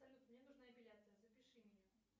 салют мне нужна эпиляция запиши меня